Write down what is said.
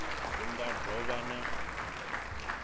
hu nga do vha na